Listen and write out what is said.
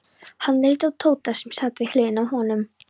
Hann leit á Tóta sem sat við hliðina á honum.